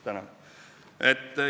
Tänan!